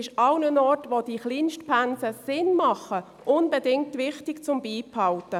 Überall dort, wo diese Kleinstpensen Sinn machen, ist es unbedingt wichtig, sie beizubehalten.